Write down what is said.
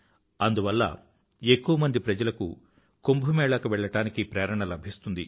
అందువల్ల ఎక్కువ మంది ప్రజలకు కుంభ్ మేళాకు వెళ్ళడానికి ప్రేరణ లభిస్తుంది